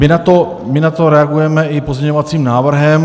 My na to reagujeme i pozměňovacím návrhem.